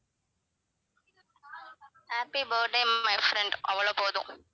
happy birthday my friend அவ்வளவு போதும்